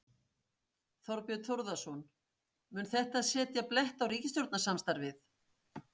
Þorbjörn Þórðarson: Mun þetta setja blett á ríkisstjórnarsamstarfið?